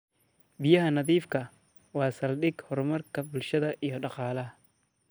Biyaha nadiifka ah waa saldhig horumarka bulshada iyo dhaqaalaha.